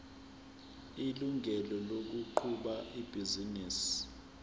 ilungelo lokuqhuba ibhizinisi